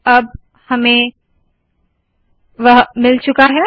अब हमें वह मिल चूका है